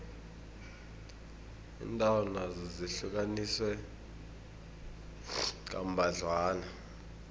iindawo nazo zihlukaniswe kambadlwana